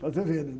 Fazer vênia.